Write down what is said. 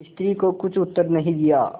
स्त्री को कुछ उत्तर नहीं दिया